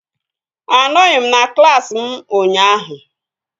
Anọghị m na klaasị m ụnyaahụ